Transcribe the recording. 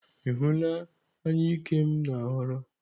Ị hụla anyụike m na-ahọrọ?